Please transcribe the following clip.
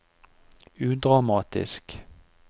udramatisk